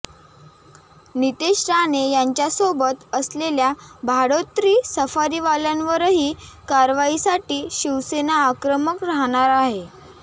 नीतेश राणे यांच्यासोबत असलेल्या भाडोत्री सफारीवाल्यांवरही कारवाईसाठी शिवसेना आक्रमक राहणार आहे